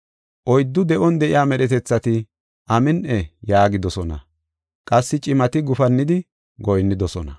Oyddu de7on de7iya medhetethati, “Amin7i” yaagidosona; qassi cimati gufannidi goyinnidosona.